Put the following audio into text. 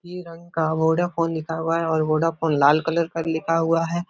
ये रंग का बोडाफोन लिखा हुआ है और बोडाफोन लाल कलर पर लिखा हुआ है।